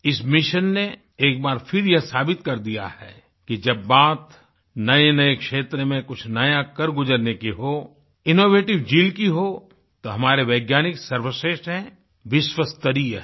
इस मिशन ने एक बार फिर यह साबित कर दिया है कि जब बात नएनए क्षेत्र में कुछ नया कर गुजरने की हो इनोवेटिव ज़ील की हो तो हमारे वैज्ञानिक सर्वश्रेष्ठ हैं विश्वस्तरीय हैं